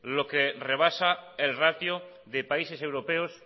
lo que rebasa el ratio de países europeos